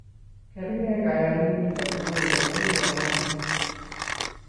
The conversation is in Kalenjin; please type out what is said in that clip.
Kerget kayanit kotukul komugul eng ngony